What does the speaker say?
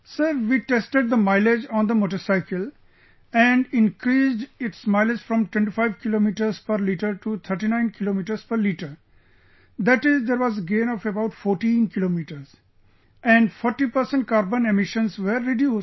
Sir, we tested the mileage on the motorcycle, and increased its mileage from 25 Kilometers per liter to 39 Kilometers per liter, that is there was a gain of about 14 kilometers... And 40 percent carbon emissions were reduced